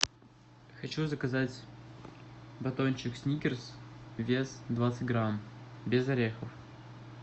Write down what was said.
хочу заказать батончик сникерс вес двадцать грамм без орехов